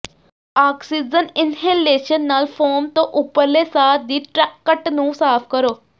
oxygen inhalation ਨਾਲ foam ਤੋਂ ਉੱਪਰਲੇ ਸਾਹ ਦੀ ਟ੍ਰੈਕਟ ਨੂੰ ਸਾਫ ਕਰੋ